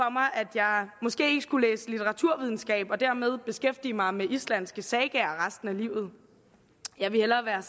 jeg måske ikke skulle læse litteraturvidenskab og dermed beskæftige mig med islandske sagaer resten af livet jeg ville hellere være